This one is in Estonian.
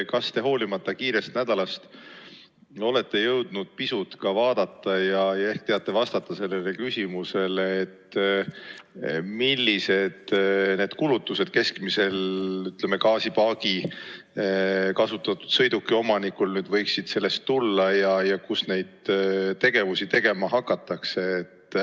Kas te hoolimata kiirest nädalast olete jõudnud pisut ka vaadata ja teate vastata sellele küsimusele, millised need kulutused keskmisel kasutatud sõiduki omanikul nüüd võiksid sellest tulla ja kus neid kontrolle tegema hakatakse?